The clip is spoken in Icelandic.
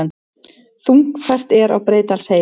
Þungfært er á Breiðdalsheiði